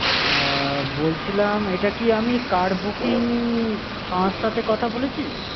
আহ বলছিলাম আমি এটা কি আমি car booking সংস্থাতে কথা বলেছি?